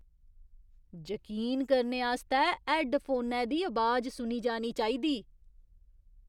जकीन करने आस्तै हैड्डफोनै दी अबाज सुनी जानी चाहिदी।